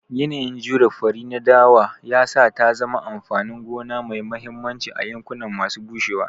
Yanayin jure fari na dawa ya sa ta zama amfanin gona mai mahimmanci a yankuna masu bushewa.